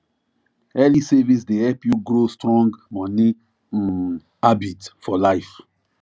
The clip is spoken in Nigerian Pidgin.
early savings dey help you grow strong money um habit for life